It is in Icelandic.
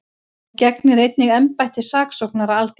Hún gegnir einnig embætti saksóknara Alþingis